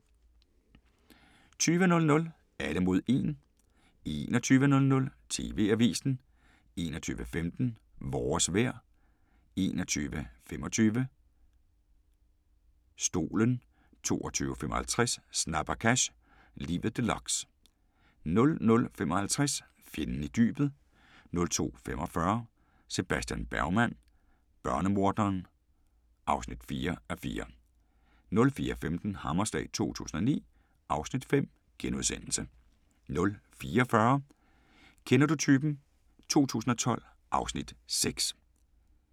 20:00: Alle mod 1 21:00: TV-avisen 21:15: Vores vejr 21:25: Stolen 22:55: Snabba cash – Livet deluxe 00:55: Fjenden i dybet 02:45: Sebastian Bergman: Børnemorderen (4:4) 04:15: Hammerslag 2009 (Afs. 5)* 04:40: Kender du typen? 2012 (Afs. 6)*